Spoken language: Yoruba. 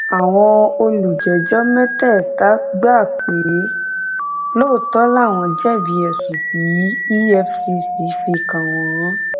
àwọn olùjẹjọ mẹtẹẹta gbà pé lóòótọ làwọn jẹbi ẹsùn tí efcc fi kàn wọn